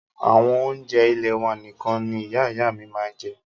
Àwọn oúnjẹ ilẹ́ wà nìkan ní Ìyá ìyá à mí màa ń jẹ́.